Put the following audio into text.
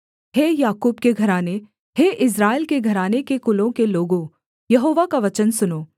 हे याकूब के घराने हे इस्राएल के घराने के कुलों के लोगों यहोवा का वचन सुनो